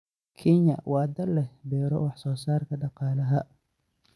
Kenya waa dal leh beero wax soo saarka dhaqaalaha.